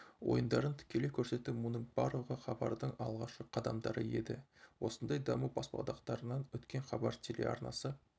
ойындарын тікелей көрсету мұның барлығы хабардың алғашқы қадамдары еді осындай даму баспалдақтарынан өткен хабар телеарнасы